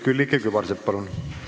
Külliki Kübarsepp, palun!